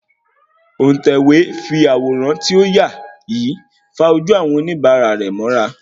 Òun tẹ̀wé fí àwòrán ti o yaa yí fa ojú àwọn oníbàárà rẹ̀ mọ́ra